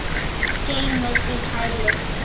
Geymist í kæli.